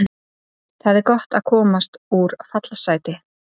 Það er gott að komast úr fallsæti.